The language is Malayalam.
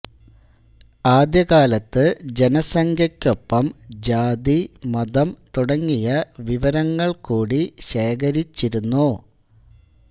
ആദ്യകാലത്ത് ജനസംഖ്യക്കൊപ്പം ജാതി മതം തുടങ്ങിയ വിവരങ്ങൾ കൂടി ശേഖരിച്ചിരുന്നു